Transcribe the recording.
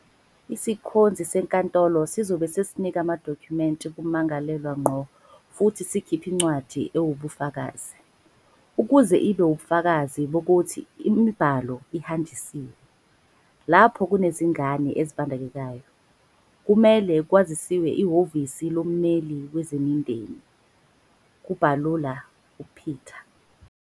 "Isikhonzi senkantolo sizobe sesinika amadokhumenti kummangalelwa ngqo futhi sikhiphe incwadi ewubufakazi, ukuze ibe ubufakazi bokuthi imibhalo ihanjisiwe. Lapho kunezingane ezibandakanyekayo, kumele kwaziswe iHhovisi loMmeli Wezemindeni," kubalula uPeta.